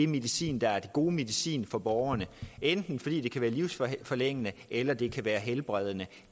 medicin der er den gode medicin for borgerne enten fordi den kan være livsforlængende eller fordi den kan være helbredende